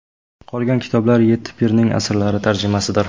Qolgan kitoblar yetti pirning asarlari tarjimasidir.